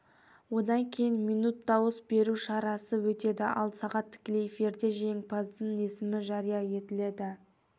одан кейін минут дауыс беру шарасы өтеді ал сағат тікелей эфирде жеңімпаздың есімі жария етіледі